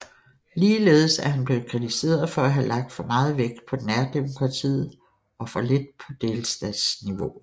Ligeledes er han blevet kritiseret for at have lagt for meget vægt på nærdemokratiet og for lidt på delstatsniveauet